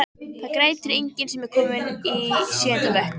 Það grætur enginn sem er kominn í sjöunda bekk.